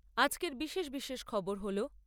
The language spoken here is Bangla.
আজকের বিশেষ বিশেষ খবর হল